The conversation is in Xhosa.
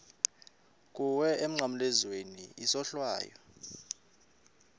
kuwe emnqamlezweni isohlwayo